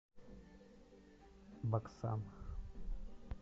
баксан